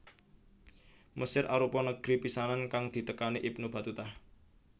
Mesir arupa negri pisanan kang ditekani Ibnu Batutah